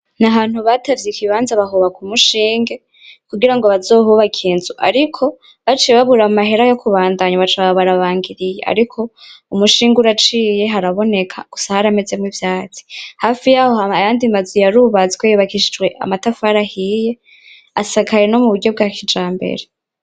N´ahantu batavye ikibanza bahataba umushinge kugira ngo bazohubakee inzu ariko baciye babura amahera yo kubandanya baca baba barabangiriye ariko umushinge uraciye uraboneka gusa harameze mwo ivyatsi hafi yaho ayandi mazu yarubatswe yubakishijwe amatafari ahiye yubatse mu buryo bwa kijambere.